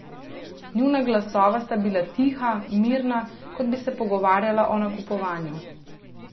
Njuna glasova sta bila tiha, mirna, kot bi se pogovarjala o nakupovanju.